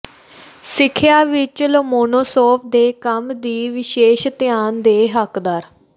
ਸਿੱਖਿਆ ਵਿਚ ਲੋਮੋਨੋਸੋਵ ਦੇ ਕੰਮ ਦੀ ਵਿਸ਼ੇਸ਼ ਧਿਆਨ ਦੇ ਹੱਕਦਾਰ